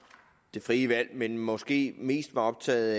det frie valg men måske mest var optaget